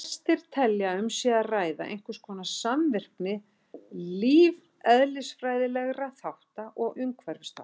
Flestir telja að um sé að ræða einhverskonar samvirkni lífeðlisfræðilegra þátta og umhverfisþátta.